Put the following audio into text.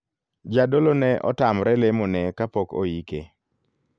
Jadolo ne otamre lemo ne kapok oike.